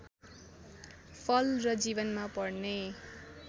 फल र जीवनमा पर्ने